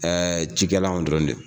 Ɛɛ jikɛlanw dɔrɔn de don